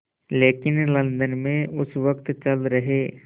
लेकिन लंदन में उस वक़्त चल रहे